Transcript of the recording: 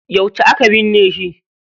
Yauce aka binne shi?